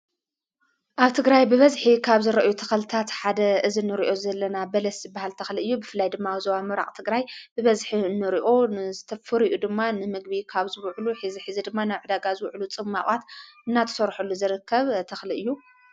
ኣብ ትግራይ ብበዝሒ ካብ ዝርኣዩ ተኽልታት ሓደ እዝንርዮ ዘለና በለስ ዝበሃል ተኽሊ እዩ ብፍላይ ድማ ኣብ ዞባ ምብራቅ ትግራይ ብበዝሒ ንርኦን ፍርኡ ድማ ንምግቢ ካብ ዝውዕሉ ሐዚ ሐዚ ድማ ኣብ ዕዳጋ ዝውዕሉ ጽማቃት እናተሠርሑሉ ዝርከብ ተኽሊ እዩ።